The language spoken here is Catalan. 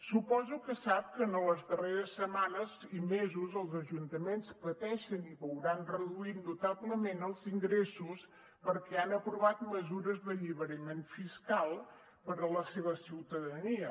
suposo que sap que en les darreres setmanes i mesos els ajuntaments pateixen i veuran reduïts notablement els ingressos perquè han aprovat mesures d’alliberament fiscal per a la seva ciutadania